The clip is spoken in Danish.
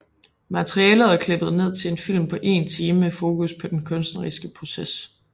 Materialet er klippet ned til en film på 1 time med fokus på den kunstneriske proces